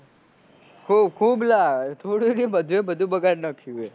ખુબ ખુબ લ્યા થોડું નહિ લ્યા બધે બધું બગાડ નાખ્યું હે